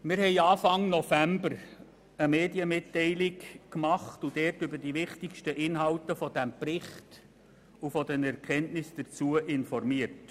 Wir haben Anfang November eine Medienmitteilung verfasst und darin über die wichtigsten Inhalte dieses Berichts und über die wichtigsten Erkenntnisse daraus informiert.